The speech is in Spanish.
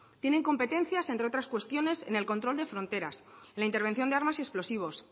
tienen competencias entre otras cuestiones en el control de fronteras en la intervención de armas y explosivos